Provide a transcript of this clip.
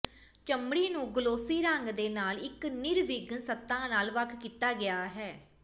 ਚਮੜੀ ਨੂੰ ਗਲੋਸੀ ਰੰਗ ਦੇ ਨਾਲ ਇਕ ਨਿਰਵਿਘਨ ਸਤ੍ਹਾ ਨਾਲ ਵੱਖ ਕੀਤਾ ਗਿਆ ਹੈ